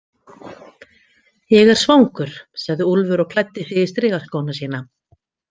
Ég er svangur, sagði Úlfur og klæddi sig í strigaskóna sína.